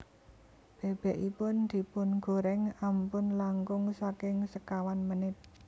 Bebekipun dipungoreng ampun langkung saking sekawan menit